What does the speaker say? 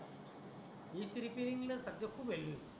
Repairing सध्या खुप value आहे.